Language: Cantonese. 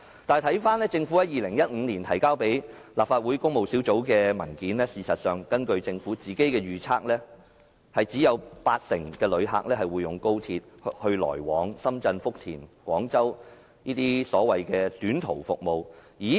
但是，政府在2015年提交立法會工務小組委員會的文件指出，根據政府的預測，有八成旅客會使用高鐵來往深圳福田或廣州等短途服務。